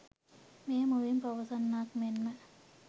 මෙය මුවින් පවසන්නාක් මෙන්ම